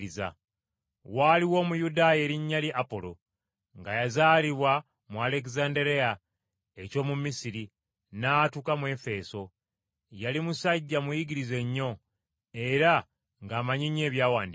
Waaliwo Omuyudaaya erinnya lye Apolo, nga yazaalibwa mu Alegezanderiya eky’omu Misiri, n’atuuka mu Efeso. Yali musajja muyigirize nnyo, era ng’amanyi nnyo Ebyawandiikibwa.